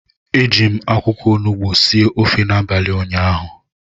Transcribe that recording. Eji m akwụkwọ onugbu sie ofe n'abalị ụnyaahụ